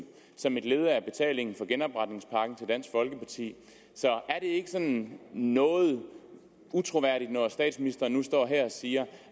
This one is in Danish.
som et led af betalingen for genopretningspakken til dansk folkeparti så er det ikke sådan noget utroværdigt når statsministeren nu står her og siger